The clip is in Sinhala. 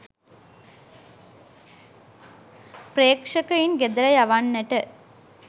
ප්‍රේක්ෂකයින් ගෙදර යවන්නට